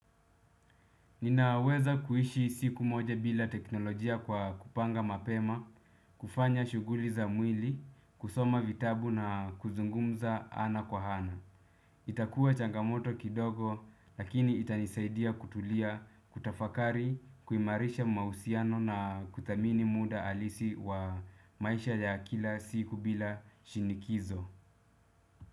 Ninaweza kuishi siku moja bila teknolojia kwa kupanga mapema, kufanya shughuli za mwili, kusoma vitabu na kuzungumza ana kwa ana. Itakua changamoto kidogo lakini itanisaidia kutulia, kutafakari, kuimarisha mahusiano na kuthamini muda halisi wa maisha ya kila siku bila shinikizo.